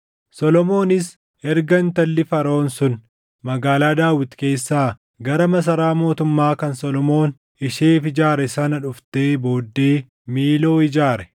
Solomoonis erga intalli Faraʼoon sun Magaalaa Daawit keessaa gara masaraa mootummaa kan Solomoon isheef ijaare sana dhuftee booddee Miiloo ijaare.